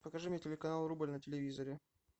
покажи мне телеканал рубль на телевизоре